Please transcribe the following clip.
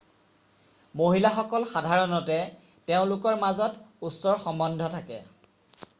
মহিলাসকল সাধাৰণতে তেওঁলোকৰ মাজত ওচৰ সম্বন্ধ থাকে